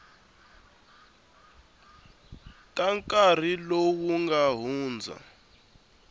ta nkarhi lowu nga hundza